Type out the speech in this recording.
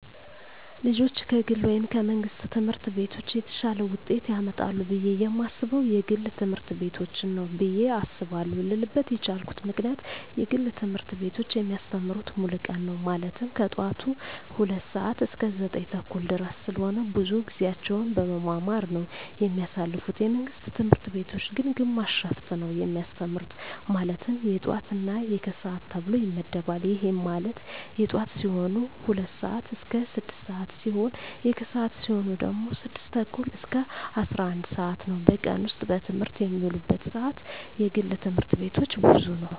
ልጆች ከግል ወይም ከመንግሥት ትምህርት ቤቶች የተሻለ ውጤት ያመጣሉ ብየ የማስበው የግል ትምህርት ቤቶችን ነው ብየ አስባለው ልልበት የቻልኩት ምክንያት የግል ትምህርት ቤቶች የሚያስተምሩት ሙሉ ቀን ነው ማለትም ከጠዋቱ 2:00 ሰዓት እስከ 9:30 ድረስ ስለሆነ ብዙውን ጊዜያቸውን በመማማር ነው የሚያሳልፉት የመንግስት ትምህርት ቤቶች ግን ግማሽ ሽፍት ነው የሚያስተምሩ ማለትም የጠዋት እና የከሰዓት ተብሎ ይመደባል ይህም ማለት የጠዋት ሲሆኑ 2:00 ስዓት እስከ 6:00 ሲሆን የከሰዓት ሲሆኑ ደግሞ 6:30 እስከ 11:00 ነው በቀን ውስጥ በትምህርት የሚውሉበት ሰዓት የግል ትምህርት ቤቶች ብዙ ነው።